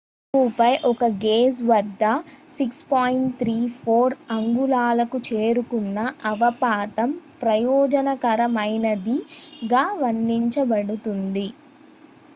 "ఓహుపై ఒక గేజ్ వద్ద 6.34 అంగుళాలకు చేరుకున్న అవపాతం "ప్రయోజనకరమైనది""గా వర్ణించబడుతుంది.